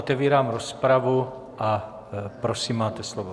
Otevírám rozpravu a prosím, máte slovo.